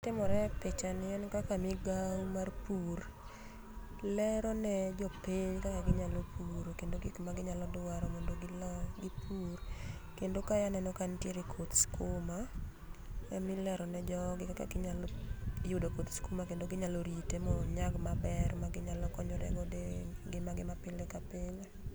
Timore e picha ni en kaka migao mar pur lerone jopiny kaka ginyalo puro kendo gik maginyalodwaro mondo golo gipur kendo ka aneno ka nitiere koth skuma emilero ne jogi kaka inyalo yudo koth skuma kendo ginyalo rite mondo onyag maber maginyalo konyre godo e ngimagi mapile kapile